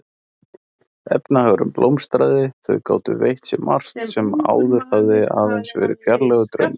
Efnahagurinn blómstraði, þau gátu veitt sér margt sem áður hafði aðeins verið fjarlægur draumur.